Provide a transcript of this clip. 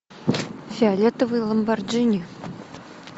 фиолетовый ламборджини